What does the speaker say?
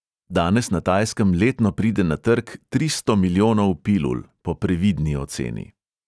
Danes na tajskem letno pride na trg tristo milijonov pilul (po previdni oceni).